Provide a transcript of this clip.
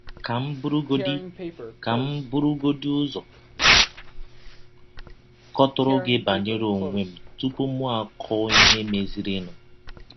Ka m burugodị Ka m burugodị ụzọ kọtụrụ gị banyere ọnwe m tụpụ mụ akọọ ihe mezirinụ.